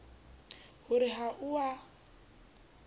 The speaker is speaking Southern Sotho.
ho re ha o a